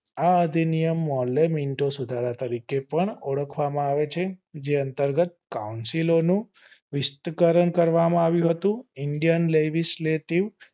આ અધિનિયમ મોમેનતમ સુધારા તરીકે પણ ઓળખવામાં આવે છે જે અંતર્ગત કૌન્સીલો નું નામ સોપવામાં આવ્યું હતું indian legislative